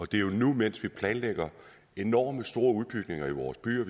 det er jo nu mens vi planlægger enormt store udbygninger i vores byer